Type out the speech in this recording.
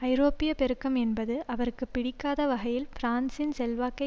ஐரோப்பிய பெருக்கம் என்பது அவருக்கு பிடிக்காத வகையில் பிரான்சின் செல்வாக்கை